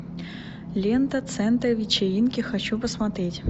лента центр вечеринки хочу посмотреть